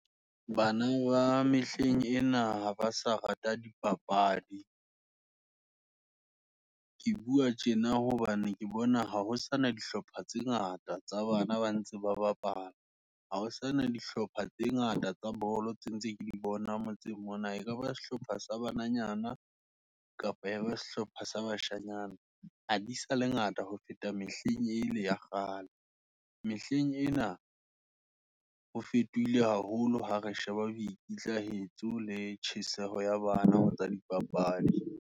Bana ba mehleng ena, ha ba sa rate dipapadi, ke bua tjena, hobane ke bona, ha ho sana dihlopha tse ngata, tsa bana ba ntse ba bapala, ha hosane dihlopha tse ngata tsa bolo, tse ntse ke di bonang motseng mona. Ekaba sehlopha sa bananyana, kapa ya ba sehlopha sa bashanyana, ha di sale ngata, ho feta mehleng ele ya kgale. Mehleng ena, ho fetohile haholo, ha re sheba boikitlahetso, le tjheseho ya bana, ho tsa dipapadi.